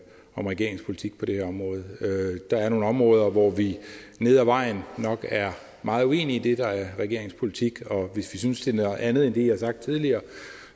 om regeringens politik på det her område der er nogle områder hvor vi nede ad vejen nok er meget uenige i det der er regeringens politik og vi synes det er noget andet end det i har sagt tidligere